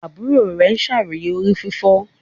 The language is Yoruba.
Àbúrò rẹ ṣàròyé orí fífọ́.